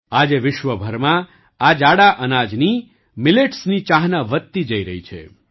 આજે વિશ્વ ભરમાં આ જાડા અનાજની Milletની ચાહના વધતી જઈ રહી છે